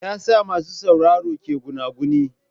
Me yasa masu sauraro ke gunaguni?